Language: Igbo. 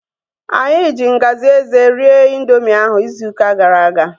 Anyị ji ngaji eze rie ịndoomị ahu izu ụka gara aga